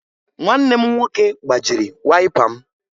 Nwanne m nwoke gbajiri wayịpa m